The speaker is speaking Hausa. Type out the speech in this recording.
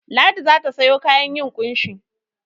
Ladi za ta sayo kayan yin ƙunshi.